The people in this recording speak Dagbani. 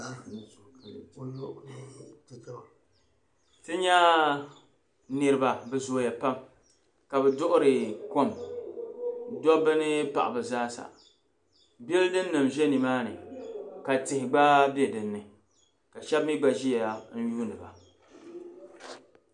Ti nya niriba bɛ zooya pam ka bɛ duɣiri kom dɔbba ni paɣab' zaasa bɛldinima zoo nimaani ka tihi gba be dinni ka shɛb' mi gba ʒiya n-yuuni ba.